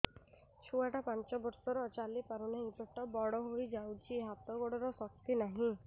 ଛୁଆଟା ପାଞ୍ଚ ବର୍ଷର ଚାଲି ପାରୁନାହଁ ପେଟ ବଡ ହୋଇ ଯାଉଛି ହାତ ଗୋଡ଼ର ଶକ୍ତି ନାହିଁ